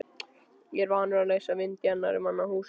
Er ég vanur að leysa vind í annarra manna húsum?